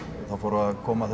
það fóru að koma